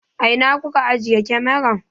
A ina kuka ajiye kamaran?